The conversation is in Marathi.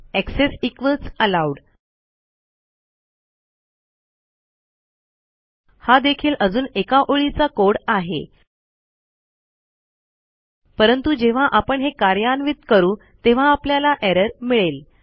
एक्सेस इक्वॉल्स एलोव्ड हा देखील अजून एका ओळीचा कोड आहे परंतु जेव्हा आपण हे कार्यान्वित करू तेव्हा आपल्याला एरर मिळेल